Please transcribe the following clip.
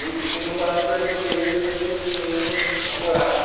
Eu tinha bastante dinheiro, mas não tinha namorada.